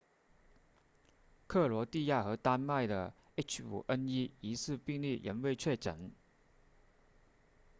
克罗地亚和丹麦的 h5n1 疑似病例仍未确诊